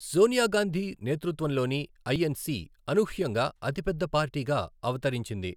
సోనియా గాంధీ నేతృత్వంలోని ఐఎన్సి అనూహ్యంగా అతిపెద్ద పార్టీగా అవతరించింది.